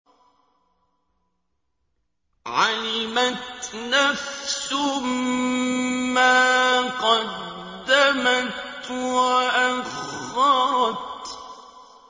عَلِمَتْ نَفْسٌ مَّا قَدَّمَتْ وَأَخَّرَتْ